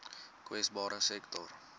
kwesbare sektore